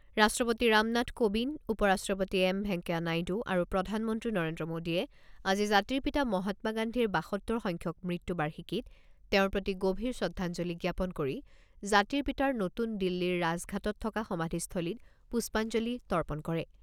ৰাষ্ট্ৰপতি ৰামনাথ কোবিন্দ, উপৰাষ্ট্ৰপতি এম ভেংকায়া নাইডু আৰু প্ৰধানমন্ত্ৰী নৰেন্দ্ৰ মোডীয়ে আজি জাতিৰ পিতা মহাত্মা গান্ধীৰ বাসত্তৰ সংখ্যক মৃত্যু বাৰ্ষিকীত তেওঁৰ প্ৰতি গভীৰ শ্ৰদ্ধাঞ্জলি জ্ঞাপন কৰি জাতিৰ পিতাৰ নতুন দিল্লীৰ ৰাজঘাটত থকা সমাধিস্থলীত পুষ্পাঞ্জলি তৰ্পণ কৰে।